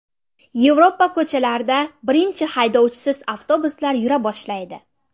Yevropa ko‘chalarida birinchi haydovchisiz avtobuslar yura boshlaydi.